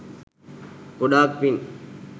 ගොඩාක් පින්.